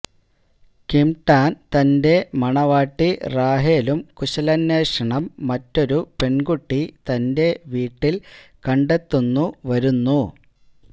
Kim Tan തൻറെ മണവാട്ടി റാഹേലും കുശലാന്വേഷണം മറ്റൊരു പെൺകുട്ടി തന്റെ വീട്ടിൽ കണ്ടെത്തുന്നു വരുന്നു